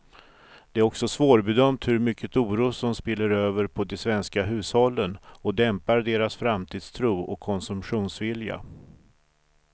Det är också svårbedömt hur mycket oro som spiller över på de svenska hushållen och dämpar deras framtidstro och konsumtionsvilja.